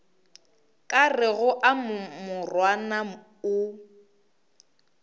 ka rego a morwana o